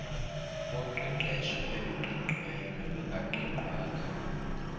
boqeqesho oluqingqiweyo nolungaqingqwanga